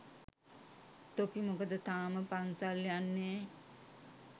තොපි මොකද තාම පන්සල් යන්නේ?